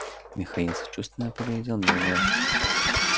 михаил сочувственно поглядел мне в глаза